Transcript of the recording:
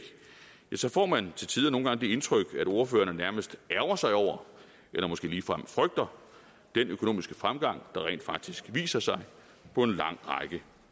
ja så får man nogle gange det indtryk at ordførerne nærmest ærgrer sig over eller måske ligefrem frygter den økonomiske fremgang der rent faktisk viser sig på en lang række